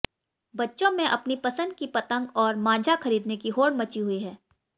बच्चों में अपनी पसंद की पतंग और मांझा खरीदने की होड़ मची हुई है